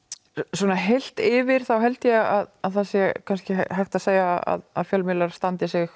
svona heilt yfir held ég að það sé kannski hægt að segja að fjölmiðlar standi sig